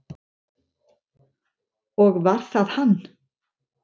Og var það hann?